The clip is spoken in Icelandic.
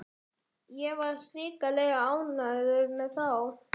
Ég var hrikalega ánægður með þá.